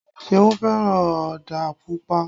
Ṣeun fẹ́ràn ọdà Pupa